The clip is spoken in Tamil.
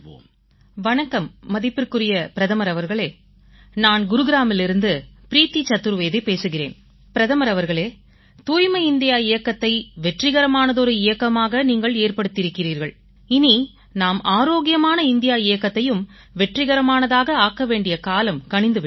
தொலைபேசி அழைப்பு வணக்கம் மதிப்பிற்குரிய பிரதமர் அவர்களே நான் குட்காவிலிருந்து ப்ரீத்தி சதுர்வேதி பேசுகிறேன் பிரதமர் அவர்களே தூய்மை இந்தியா இயக்கத்தை வெற்றிகரமானதொரு இயக்கமாக நீங்கள் ஏற்படுத்தியிருக்கிறீர்கள் இனி நாம் ஆரோக்கியமான இந்தியா இயக்கத்தையும் வெற்றிகரமானதாக ஆக்க வேண்டிய காலம் கனிந்து விட்டது